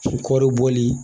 kɔɔri bɔli